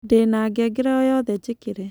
ndĩ na ngengere o yothe njĩkĩre